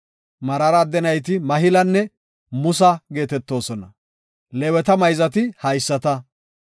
Meraara adde nayti Mahilanne Musa geetetoosona. Leeweta mayzati haysata.